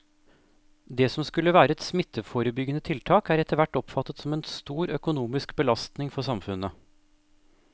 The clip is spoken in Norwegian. Det som skulle være et smitteforebyggende tiltak er etterhvert oppfattet som en stor økonomisk belastning for samfunnet.